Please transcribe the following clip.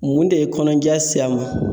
Mun de ye kɔnɔja se a ma ?